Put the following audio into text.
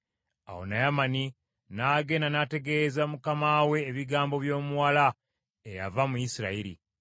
Awo Naamani n’agenda n’ategeeza mukama we ebigambo by’omuwala eyava mu Isirayiri.